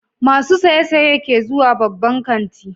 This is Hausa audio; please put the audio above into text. Masu saye-saye ke zuwa babban kanti.